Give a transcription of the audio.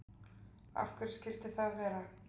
af hverju skyldi það vera